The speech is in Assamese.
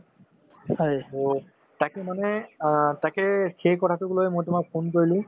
to তাকে মানে অ তাকেই সেই কথাটোক লৈ মই তোমাক phone কৰিলো